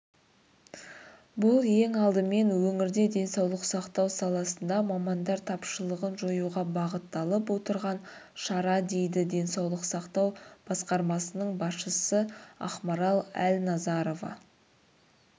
бұл ең алдымен өңірде денсаулық сақтау саласында мамандар тапшылығын жоюға бағытталып отырған шара дейді денсаулық сақтау басқармасының басшысы ақмарал әлназарова